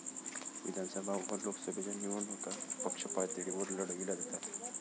विधानसभा व लोकसभेच्या निवडणुका पक्षपातळीवर लढविल्या जातात.